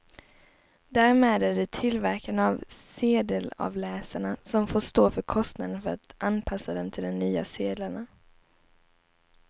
Därmed är det tillverkarna av sedelavläsarna som får stå för kostnaden för att anpassa dem till de nya sedlarna.